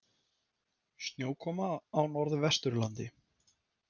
Snjókoma á Norðvesturlandi